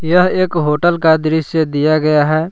यह एक होटल का दृश्य दिया गया है।